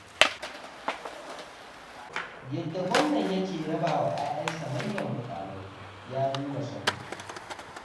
Yadda gwamnan yake rabawa 'ya'yansa manyan muƙamai, ya nuna son kai.